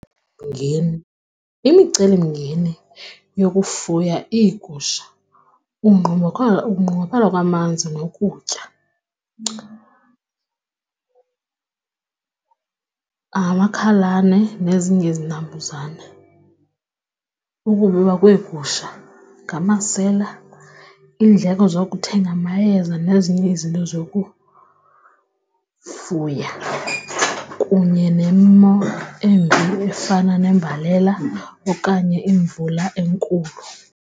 Imicelimngeni yokufuya iigusha, ukunqongophala kwamanzi nokutya, amakhalane nezinye izinambuzane, ukubiwa kweegusha ngamasela, iindleko zokuthenga amayeza nezinye izinto zokufuya kunye nemo embi efana nembalela okanye imvula enkulu.